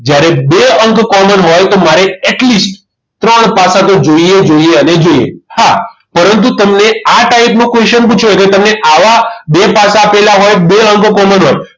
જ્યારે બે અંક common હોય તો મારે at list ત્રણ પાસા તો જોઈએ જોઈએ જોઈએ અને જોઈએ હા પરંતુ તમને આ ટાઈપ નો question પૂછ્યો હોય તો તમને આવા બે પાસા આપેલા હોય બે અંક common હોય